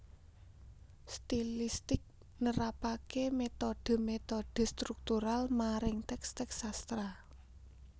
Stilistik nerapaké metode metode struktural maring teks teks sastra